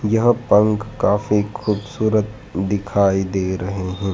यह पंख काफी खूबसूरत दिखाई दे रहे हैं।